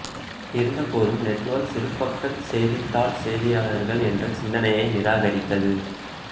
இருந்தபோதும் நெட்வொர்க் சிறுபக்க செய்தித்தாள் செய்தியாளர்கள் என்ற சிந்தனையை நிராகரித்தது